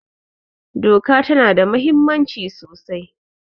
Doka ta na da muhimmanci sosai